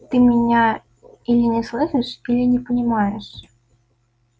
ты меня или не слышишь или не понимаешь